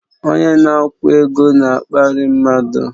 Onye na-akwụ ego na-akparị mmadụ